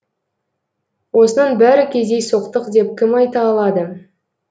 осының бәрі кездейсоқтық деп кім айта алады